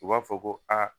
U b'a fɔ ko aa